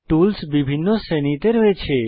tools বিভিন্ন শ্রেণীতে রয়েছে